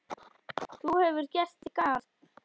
Þú hefur gert þitt gagn.